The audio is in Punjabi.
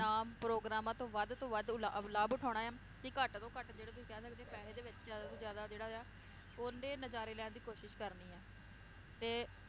ਨਾਮ ਪ੍ਰੋਗਰਾਮਾਂ ਤੋਂ ਵੱਧ ਤੋਂ ਵੱਧ ਲਾ~ ਲਾਭ ਉਠਾਉਣਾ ਆ ਤੇ ਘੱਟ ਤੋਂ ਘੱਟ ਜਿਹੜੇ ਤੁਸੀਂ ਕਹਿ ਸਕਦੇ ਪੈਸੇ ਦੇ ਵਿਚ ਜ਼ਿਆਦਾ ਤੋਂ ਜ਼ਿਆਦਾ ਜਿਹੜਾ ਆ ਓਹਦੇ ਨਜਾਰੇ ਲੈਣ ਦੀ ਕੋਸ਼ਿਸ਼ ਕਰਨੀ ਆ ਤੇ